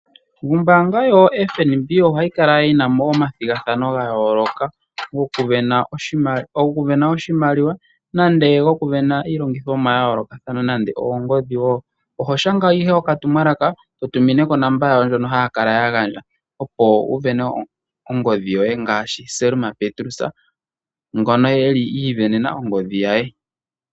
Ombaanga yotango yopashigwana ohayikala yina omathigathano gayooloka go kusindana oshimaliwa nenge go kusindana iilongithomwa yayoolokathana nenge oongodhi. Oho shanga ihe okatumwalaka eto tumine konomola yawo ndjoka hayakala yagandja opo wusindane oongodhi yoye ngaashi Selma Petrus ngono eli asindana ongodhi ye.